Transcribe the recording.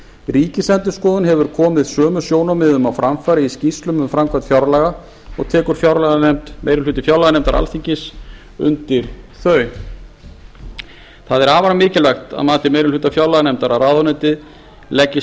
ríkisendurskoðun hefur komið sömu sjónarmiðum á framfæri í skýrslum um framkvæmd fjárlaga og tekur meiri hluti fjárlaganefndar alþingis undir þau sjónarmið það er afar mikilvægt að mati meiri hluta fjárlaganefndar að ráðuneyti leggi